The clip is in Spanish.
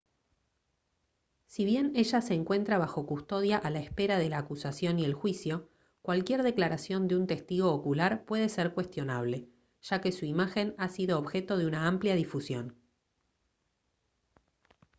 si bien ella se encuentra bajo custodia a la espera de la acusación y el juicio cualquier declaración de un testigo ocular puede ser cuestionable ya que su imagen ha sido objeto de una amplia difusión